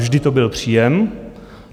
Vždy to byl příjem.